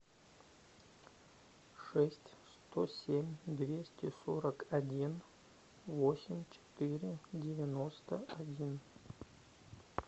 шесть сто семь двести сорок один восемь четыре девяносто один